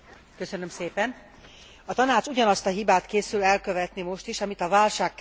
A Tanács ugyanazt a hibát készül elkövetni most is, amit a válságkezelésében elkövetett.